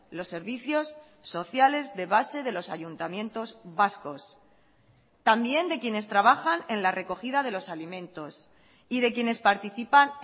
los servicios sociales de base de los ayuntamientos vascos también de quienes trabajan en la recogida de los alimentos y de quienes participan